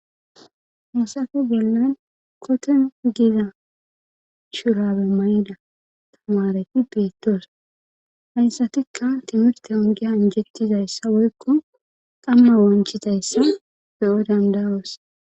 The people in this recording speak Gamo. hassafe bollan koten giza shurabe mayida tamareti peettoos hayssatikka timirte ongiya injettizayssa woykko qamma wonchitayssa be7o dandayoos